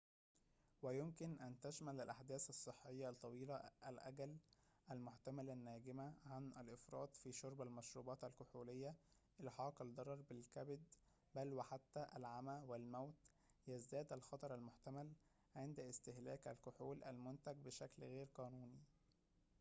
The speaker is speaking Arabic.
ويمكن أن تشمل الأحداث الصحية الطويلة الأجل المحتملة الناجمة عن الإفراط في شرب المشروبات الكحولية إلحاق الضرر بالكبد بل وحتى العمى والموت يزداد الخطر المحتمل عند استهلاك الكحول المنتج بشكل غير قانوني